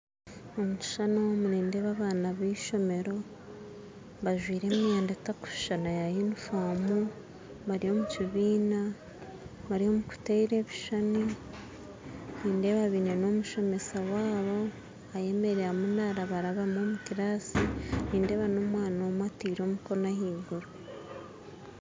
Omukishushani omu nindeeba abaana ba ishomero bajwaire emyenda etakushishana ya yunifoomu bari omu kibiina bari omu kuteera ebishushani nindeeba baine n'omushomesa waabo ayemeriire ariyo narabarabamu omu kiraasi nindeeba n'omwana omwe ataire omukono ahaiguru